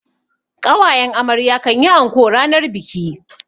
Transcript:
ƙawayen amarya kan yi anko ranar biki.